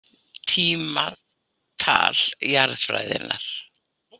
Tímatal jarðfræðinnar.